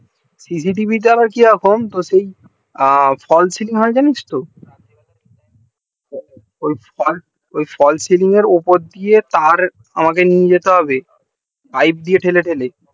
cctv টা আবার কে রকম তো সেই fall selling হয় জানিস তো ওই fall selling এর উপর দিয়ে তার আমাকে নিয়ে যেতে হবে পাইপ দিয়ে টেনে টেনে